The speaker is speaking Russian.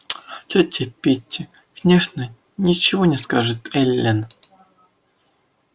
тётя питти конечно ничего не скажет эллин